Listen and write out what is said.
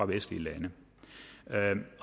vestlige lande